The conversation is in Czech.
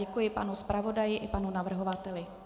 Děkuji panu zpravodaji i panu navrhovateli.